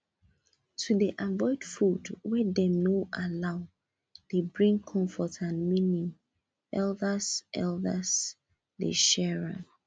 to dey avoid food wey dem no allow dey bring comfort and meaning elders elders dey share am